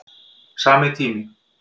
Sami tími